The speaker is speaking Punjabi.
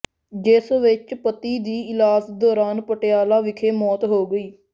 ਜਿਸ ਵਿੱਚ ਪਤੀ ਦੀ ਇਲਾਜ ਦੌਰਾਨ ਪਟਿਆਲਾ ਵਿਖੇ ਮੌਤ ਹੋ ਗਈ